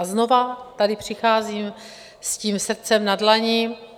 A znovu tady přicházím s tím srdcem na dlani.